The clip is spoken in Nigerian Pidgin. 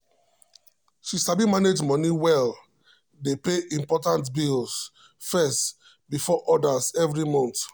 she sabi manage money well dey pay important bills first before others every month.